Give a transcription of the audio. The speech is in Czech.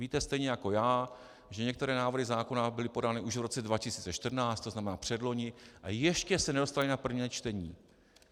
Víte stejně jako já, že některé návrhy zákona byly podány už v roce 2014, to znamená předloni, a ještě se nedostaly na prvé čtení.